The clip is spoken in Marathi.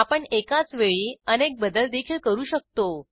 आपण एकाच वेळी अनेक बदल देखील करू शकतो